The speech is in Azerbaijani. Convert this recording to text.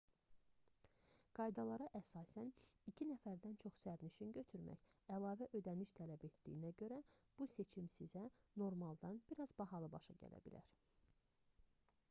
qaydalara əsasən 2 nəfərdən çox sərnişin götürmək əlavə ödəniş tələb etdiyinə görə bu seçim sizə normaldan bir az bahalı başa gələ bilər